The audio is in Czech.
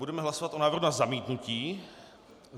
Budeme hlasovat o návrhu na zamítnutí.